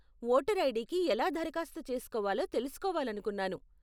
Voter ఐడీకి ఎలా దరఖాస్తు చేసుకోవాలో తెలుసుకోవాలనుకున్నాను.